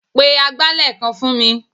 Pe agbálẹ̀ kan fún mi.